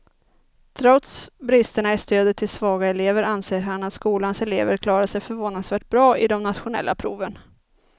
Trots bristerna i stödet till svaga elever anser han att skolans elever klarar sig förvånansvärt bra i de nationella proven.